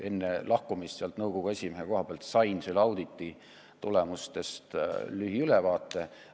Enne lahkumist nõukogu esimehe koha pealt sain ma selle auditi tulemustest lühiülevaate.